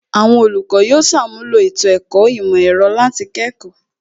Àwọn olùkọ́ yóò ṣàmúlò ètò ẹ̀kọ́ ìmọ̀ ẹ̀rọ láti kẹ́kọ̀ọ́